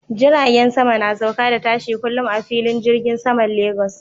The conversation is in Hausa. Jiragen sama na sauka da tashi kullum a filin jirgin saman Lagos.